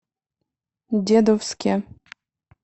дедовске